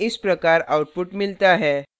हमें इस प्रकार output मिलता है